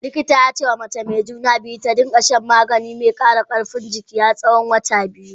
Likita ya ce ma Mace mai juna biyu, ta dinga shan magani mai kara karfin jiki har tsawon watani biyu.